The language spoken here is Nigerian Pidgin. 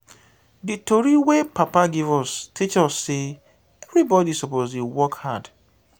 di tori wey papa give us teach sey everybodi suppose dey work hard.